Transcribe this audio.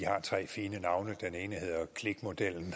tre fine navne den ene hedder klikmodellen